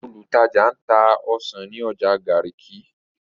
Olùtajà ń ta ọsàn ní ọjà Garki.